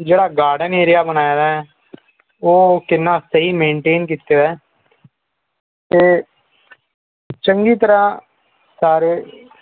ਜਿਹੜਾ garden area ਬਣਾਇਆ ਹੋਇਆ ਹੈ ਉਹ ਕਿੰਨਾ ਸਹੀ maintain ਕੀਤਾ ਹੈ ਤੇ ਚੰਗੀ ਤਰ੍ਹਾਂ ਸਾਰੇ